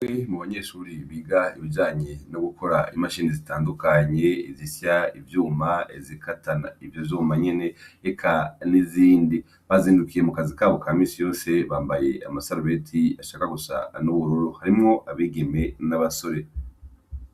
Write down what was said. I mu banyeshuri biga ibijanye no gukora imashini zitandukanye izisya ivyuma ezikatana ivyo zuma nyene eka n'izindi bazindukiye mu kazi kabo ka misi yose bambaye amasarabeti ashaka gusa an'ubururu harimwo abigeme n'abasore.